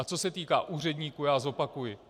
A co se týká úředníků, já zopakuji.